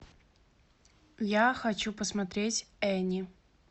я хочу посмотреть энни